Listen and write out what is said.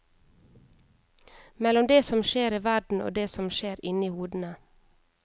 Mellom det som skjer i verden og det som skjer inni hodene.